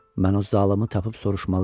Mən o zalımı tapıb soruşmalıyam.